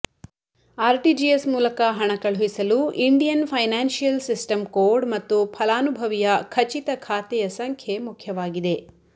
RTGS ಮೂಲಕ ಹಣ ಕಳುಹಿಸಲು ಇಂಡಿಯನ್ ಫೈನಾನ್ಷಿಯಲ್ ಸಿಸ್ಟಮ್ ಕೋಡ್ ಮತ್ತು ಫಲಾನುಭವಿಯ ಖಚಿತ ಖಾತೆಯ ಸಂಖ್ಯೆ ಮುಖ್ಯವಾಗಿದೆ